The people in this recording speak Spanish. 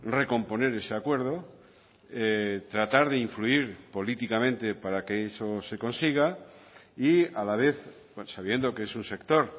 recomponer ese acuerdo tratar de influir políticamente para que eso se consiga y a la vez sabiendo que es un sector